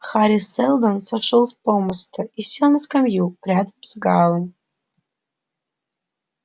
хари сэлдон сошёл с помоста и сел на скамью рядом с гаалом